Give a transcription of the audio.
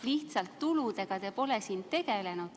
Lihtsalt et tuludega te pole siin tegelenud.